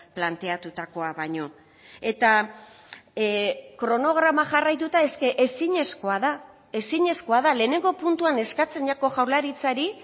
planteatutakoa baino eta kronograma jarraituta eske ezinezkoa da ezinezkoa da lehenengo puntuan eskatzen jako jaurlaritzari